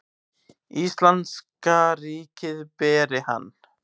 Íslenska ríkið beri hann.